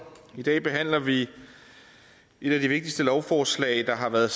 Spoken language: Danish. i dag behandler vi et af de vigtigste lovforslag der har været